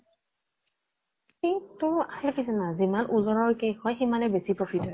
এই টো আচল কি জানা, যিমান ওজনৰ cake হয় সিমানে বেছি profit হয়।